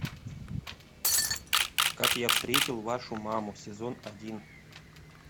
как я встретил вашу маму сезон один